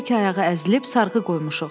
Hər iki ayağı əzilib sarğı qoymuşuq.